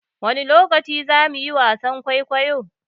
Wani lokaci zamu yi wasan kuikuyo?